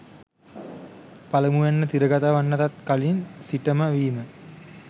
පළමුවැන්න තිරගතවෙන්නටත් කලින් සිටම වීම.